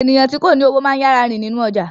Eniyan ti ko ni owo maa ń yara rin ninu ọja